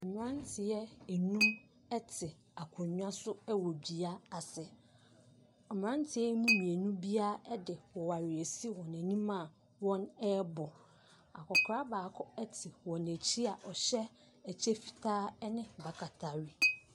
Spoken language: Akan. Mmeranteɛ nnum te akonnwa so wɔ dua ase. Mmeranteɛ yi mu mmienu biara de oware asi wɔn anim a wɔre bɔ. Akɔkora baako te wɔn akyi a ɔhyɛ ɛkyɛ fitaa ne akatahwene.